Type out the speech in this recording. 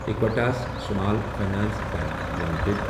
ایکویٹس Small Finance Bank limited